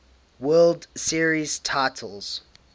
world series titles